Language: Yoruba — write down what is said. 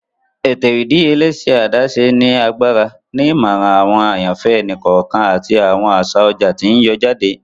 Ètò ìdíyelé ṣe adaṣe ni agbára, ni imọran awọn àyànfẹ ẹni kọọkan ati awọn aṣa ọjà ti n yọ jáde.